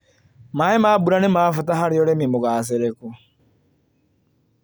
Maĩ ma mbura nĩmabata harĩ ũrĩmi mũgacĩriku.